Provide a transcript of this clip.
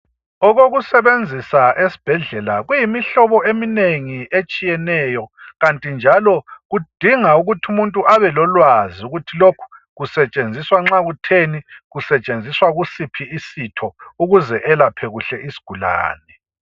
Okokusebenzisa esibhedlela kuyimihlobo eminengi etshiyeneyo kanti njalo kudinga ukuthi umuntu abelolwazi ukuthi lokhu kusetshenziswa nxa kutheni , kusetshenziswa kusiphi isitho ukuze welaphe kuhle isigulane.